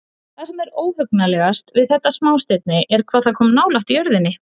Það sem er óhugnanlegast við þetta smástirni er hvað það kom nálægt jörðinni.